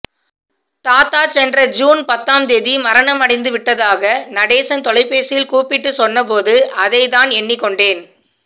தாத்தா சென்ற ஜூன் பத்தாம் தேதி மரணமடைந்துவிட்டதாக நடேசன் தொலைபேசியில் கூப்பிட்டுச் சொன்ன போது அதைத்தான் எண்ணிக்கொண்டேன்